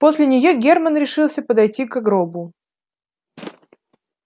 после неё германн решился подойти ко гробу